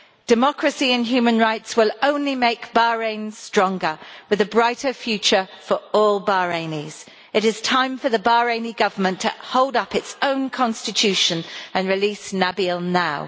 Democracy and human rights will only make Bahrain stronger, with a brighter future for all Bahrainis. It is time for the Bahraini Government to hold up its own constitution and release Nabeel now.